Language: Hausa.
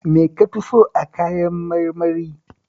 Me ka fi so a kayan marmari?